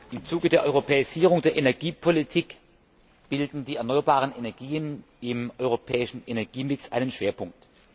Im Zuge der Europäisierung der Energiepolitik bilden die erneuerbaren Energien im europäischen Energiemix einen Schwerpunkt.